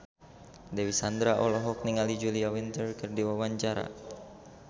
Dewi Sandra olohok ningali Julia Winter keur diwawancara